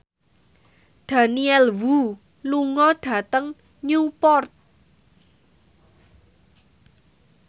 Daniel Wu lunga dhateng Newport